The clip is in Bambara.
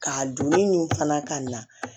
Ka donni min fana ka na